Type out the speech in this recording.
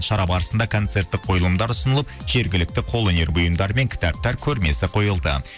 шара барысында концерттік қойылымдар ұсынылып жергілікті қол өнер бұйымдары мен кітаптар көрмесі қойылды